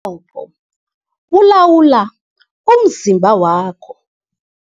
qopho bulawula umzimba wakho.